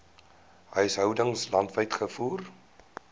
huishoudings landwyd gevoer